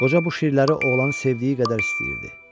Qoca bu şirləri oğlanın sevdiyi qədər istəyirdi.